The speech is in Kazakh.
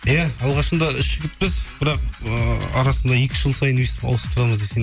иә алғашында үш жігітпіз бірақ ыыы арасына екі жыл сайын өстіп ауысып тұрамыз десең